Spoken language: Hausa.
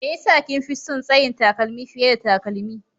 Me ya sa kin fi son tsayin takalmi fiye da takalmi?